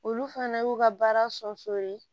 Olu fana y'u ka baara